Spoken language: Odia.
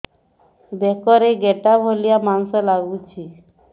ବେକରେ ଗେଟା ଭଳିଆ ମାଂସ ଲାଗୁଚି